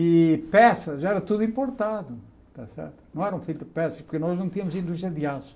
E peças, era tudo importado está certo, não eram feitas peças, porque nós não tínhamos indústria de aço.